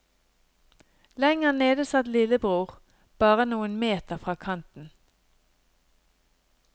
Lenger nede satt lillebror, bare noen meter fra kanten.